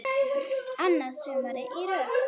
Annað sumarið í röð.